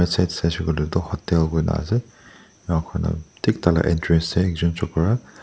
side saishey koilae tu hotel kuina ase enka kurana thik tai la entrance tae ekjun chokora.